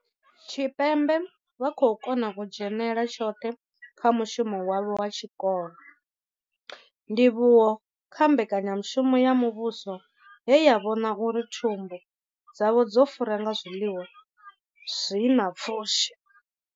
Tshipembe vha khou kona u dzhenela tshoṱhe kha mushumo wavho wa tshikolo, ndivhuwo kha mbekanyamushumo ya muvhuso ye ya vhona uri thumbu dzavho dzo fura nga zwiḽiwa zwi na pfushi.